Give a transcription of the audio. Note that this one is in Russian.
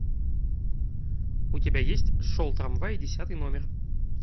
у тебя есть шел трамвай десятый номер